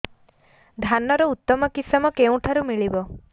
ଧାନର ଉତ୍ତମ କିଶମ କେଉଁଠାରୁ ମିଳିବ